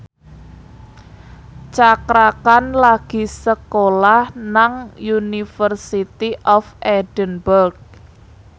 Cakra Khan lagi sekolah nang University of Edinburgh